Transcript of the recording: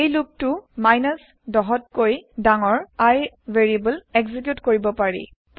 এই লুপ টো ১০ ত কৈ ডাঙৰ I ভেৰিয়েবল একজিকিউত কৰিব পাৰিব